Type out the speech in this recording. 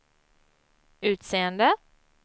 utseende